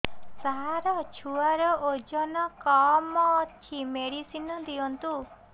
ସାର ଛୁଆର ଓଜନ କମ ଅଛି ମେଡିସିନ ଦିଅନ୍ତୁ